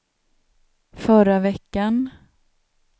förra veckan